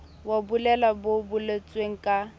wa bolelele bo boletsweng ka